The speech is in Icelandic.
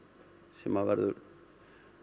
sem að verður